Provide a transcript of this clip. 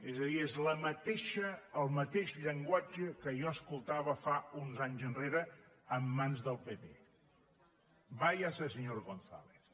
és a dir és el mateix llenguatge que jo escoltava uns anys enrere en mans del pp váyase señor gonzález